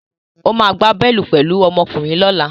Ó máa gbá bọ́ọ́lù pẹ̀lú ọmọkùnrin lọ́la